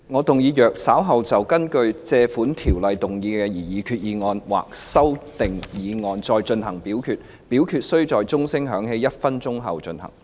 主席，我動議若稍後就根據《借款條例》動議的擬議決議案或其修訂議案再進行點名表決，表決須在鐘聲響起1分鐘後進行。